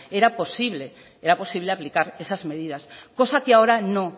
era posible aplicar esas medidas cosa que ahora no